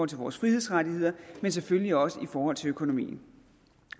til vores frihedsrettigheder og selvfølgelig også i forhold til økonomien